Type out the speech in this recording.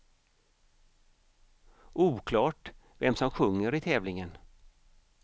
Oklart vem som sjunger i tävlingen.